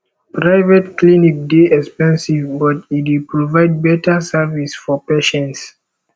private clinic dey expensive but e dey provide beta service for patients